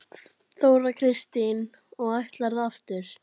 Þóra Kristín: Og ætlarðu aftur?